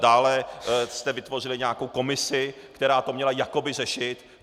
Dále jste vytvořili nějakou komisi, která to měla jakoby řešit.